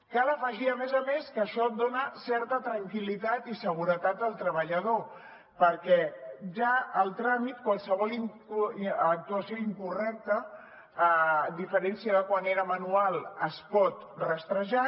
cal afegir a més a més que això dona certa tranquil·litat i seguretat al treballador perquè ja el tràmit qualsevol actuació incorrecta a diferència de quan era manual es pot rastrejar